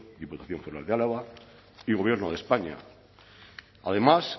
diputación foral de álava y gobierno de españa además